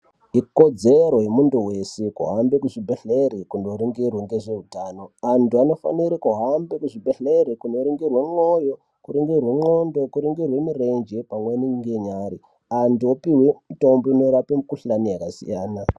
Ikodzero yemuntu weshe kuhambe kuzvibhedhlera koringirwa ngezveutano antu anofanere kuhambe kuzvibhedhlera koringirwe mwoyo, ndxondo , mirenje pamweni ngenyara antu opuwe mitombo inorape nemikuhlane yakasiyana.